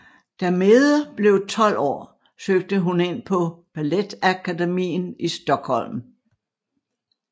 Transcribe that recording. Da Mede blev 12 år søgte hun ind på Balettakademien i Stockholm